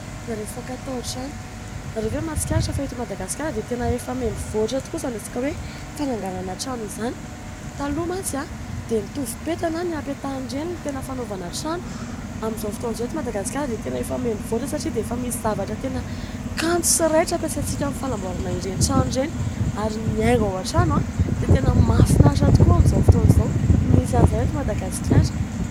Raha resaka tao trano, nareo vé mahatsikaritra fa eto Madagasikara dia tena mivoatra tokoa izany fananganana trano izany, taloha mantsy dia tovopeta na ny hapehany ireny no tena fanaovana trano izany, amin'ny izao fotoana izao eto Madagasikara dia tena efa mivoatra satria efa misy zavatra kanto sy raitra hampisaina hanamboarana trano ary ny haingo an-trano dia mahafinaritra tokoa amin'ny izao fotoana izao ary misy any izany amin'ny izao fotoana izao.